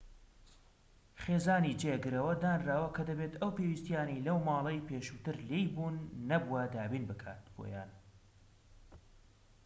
خێزانی جێگرەوە دانراوە کە دەبێت ئەو پێویستیانەی لەو ماڵەی پێشووتر لێی بوون نەبووە دابین بکات بۆیان